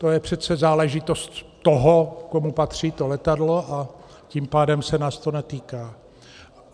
To je přece záležitost toho, komu patří to letadlo, a tím pádem se nás to netýká.